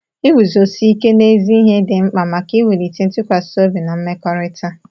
Iguzosi ike n'ezi ihe dị mkpa maka iwulite ntụkwasị obi na mmekọrịta.